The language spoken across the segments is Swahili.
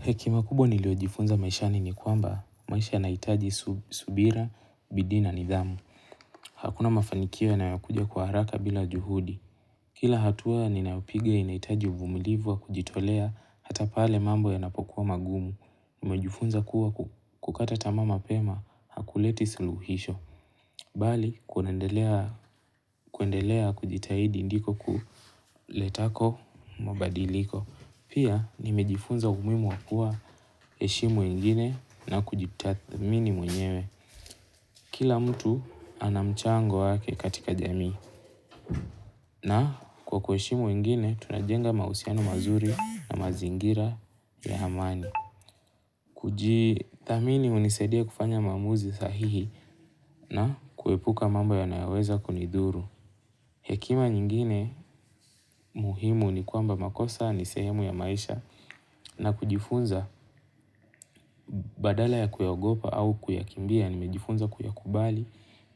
Heki makubo niliojifunza maisha nini kuamba maisha naitaji subira, bidina nidhamu. Hakuna mafanikio na yakuja kwa haraka bila juhudi. Kila hatua ninayopiga inaitaji uvumilivu wa kujitolea hata pale mambo ya napokuwa magumu. Kujifunza kuwa kukata tamama pema hakuleti suluhisho. Bali kunandelea kuendelea kujitaidi ndiko kuletako mabadiliko. Pia nimejifunza umuhimu wakua heshimu ingine na kujitath mini mwenyewe. Kila mtu anamchango wake katika jami. Na kwa kuheshimu ingine, tunajenga mausiano mazuri na mazingira ya hamani. Kujidhamini unisadia kufanya maamuzi sahihi na kuepuka mambo yanayoweza kunidhuru. Hekima nyingine muhimu ni kwamba makosa nisehemu ya maisha na kujifunza badala ya kuyaogopa au kuyakimbia, nimejifunza kuyakubali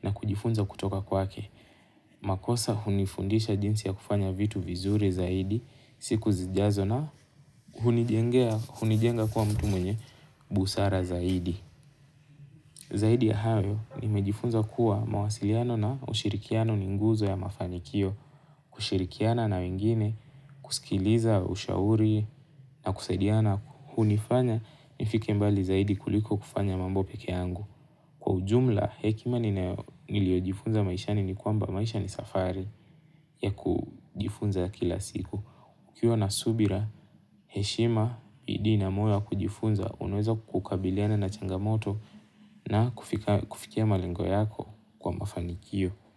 na kujifunza kutoka kwake. Makosa hunifundisha jinsi ya kufanya vitu vizuri zaidi, siku zijazo na hunijenga kwa mtu mwenye busara zaidi. Zaidi ya hayo, nimejifunza kuwa mawasiliano na ushirikiano ninguzo ya mafanikio, kushirikiana na wengine, kusikiliza, ushauri na kusaidiana Hu nifanya nifike mbali zaidi kuliko kufanya mambo peke yangu Kwa ujumla, hekima ninayo. Niliojifunza maishani ni kwamba maishani safari. Ya kujifunza kila siku. Ukiwa na subira, heshima bidii na moyo ya kujifunza unanweza kukabiliana na changamoto na kufikia malengo yako kwa mafanikio.